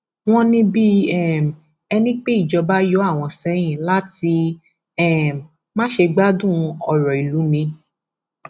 wọn ní bíi um ẹni pé ìjọba yọ àwọn sẹyìn láti um má ṣe gbádùn ọrọ ìlú ni